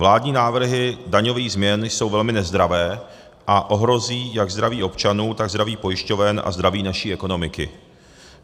Vládní návrhy daňových změn jsou velmi nezdravé a ohrozí jak zdraví občanů, tak zdraví pojišťoven a zdraví naší ekonomiky.